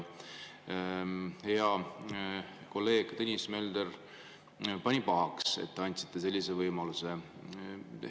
Hea kolleeg Tõnis Mölder pani pahaks, et te andsite sellise võimaluse.